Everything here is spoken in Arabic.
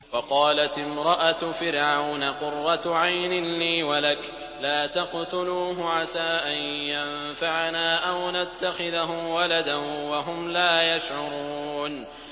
وَقَالَتِ امْرَأَتُ فِرْعَوْنَ قُرَّتُ عَيْنٍ لِّي وَلَكَ ۖ لَا تَقْتُلُوهُ عَسَىٰ أَن يَنفَعَنَا أَوْ نَتَّخِذَهُ وَلَدًا وَهُمْ لَا يَشْعُرُونَ